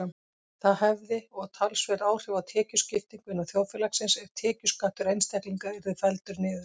Það hefði og talsverð áhrif á tekjuskiptingu innan þjóðfélagsins ef tekjuskattur einstaklinga yrði felldur niður.